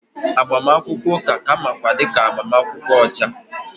Agbamakwụkwọ ụka ka a makwaara dị ka agbamakwụkwọ ọcha